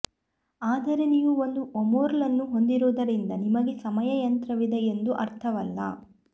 ಆದರೆ ನೀವು ಒಂದು ವರ್ಮ್ಹೋಲ್ ಅನ್ನು ಹೊಂದಿರುವುದರಿಂದ ನಿಮಗೆ ಸಮಯ ಯಂತ್ರವಿದೆ ಎಂದು ಅರ್ಥವಲ್ಲ